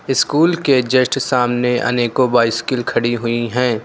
School के just सामने अनेकों बाईंस्किल खड़ी हुई है।